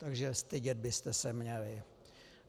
Takže stydět byste se měli.